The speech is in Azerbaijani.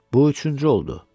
Bu üçüncü oldu.